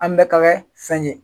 An bɛ ka kɛ fɛn ɲen.